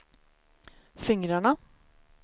fingrarna